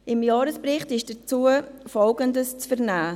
Im Jahresbericht ist dazu Folgendes zu vernehmen: